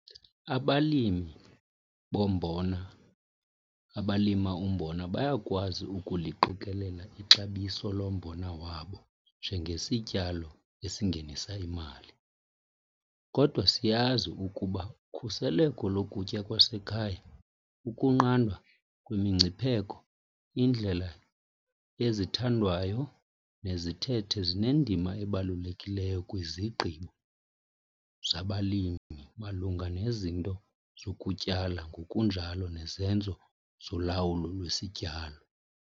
Abalimi bombona abalima umbona bayakwazi ukuliqikelela ixabiso lombona wabo njengesityalo esingenisa imali. Kodwa, siyazi ukuba ukhuseleko lokutya kwasekhaya, ukunqandwa kwemingcipheko, iindlela ezithandwayo nezithethe zinendima ebalulekileyo kwizigqibo zabalimi malunga nezinto zokutyala ngokunjalo nezenzo zolawulo lwesityalo.